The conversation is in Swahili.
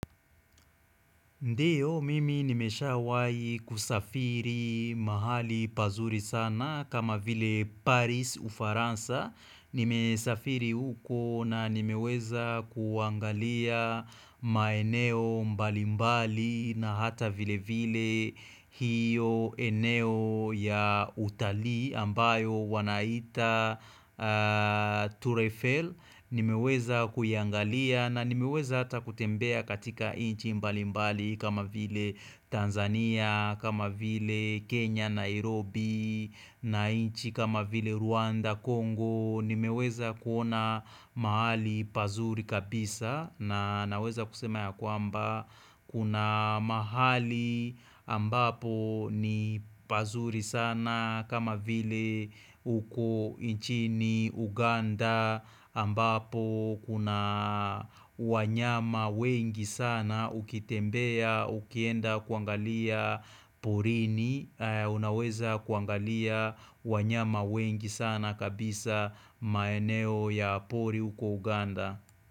Ndiyo, mimi nimeshawahi kusafiri mahali pazuri sana kama vile Paris Ufaransa. Nimesafiri huko na nimeweza kuangalia maeneo mbalimbali na hata vile vile hiyo eneo ya utalii ambayo wanaita Tour Eifel. Nimeweza kuyaangalia na nimeweza hata kutembea katika nchi mbali mbali kama vile Tanzania, kama vile Kenya Nairobi, na nchi kama vile Rwanda, Congo. Nimeweza kuona mahali pazuri kabisa na naweza kusema ya kwamba Kuna mahali ambapo ni pazuri sana kama vile huko nchini Uganda ambapo kuna wanyama wengi sana ukitembea ukienda kuangalia porini Unaweza kuangalia wanyama wengi sana kabisa maeneo ya pori huko Uganda.